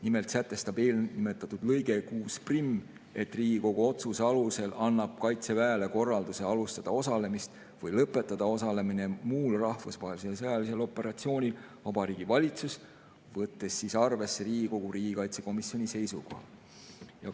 Nimelt sätestab eelnimetatud lõige 61, et Riigikogu otsuse alusel annab Kaitseväele korralduse alustada osalemist või lõpetada osalemine muul rahvusvahelisel sõjalisel operatsioonil Vabariigi Valitsus, võttes arvesse Riigikogu riigikaitsekomisjoni seisukoha.